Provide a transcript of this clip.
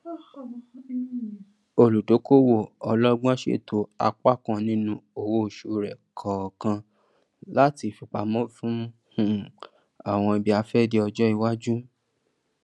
olùdókòwò ọlọgbọn ṣètò apá kan nínú owóoṣù rẹ kọọkan láti fipamọ fún um àwọn ibiafẹdé ọjọ iwájú